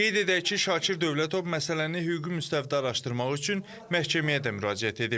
Qeyd edək ki, Şakir Dövlətov məsələni hüquqi müstəvidə araşdırmaq üçün məhkəməyə də müraciət edib.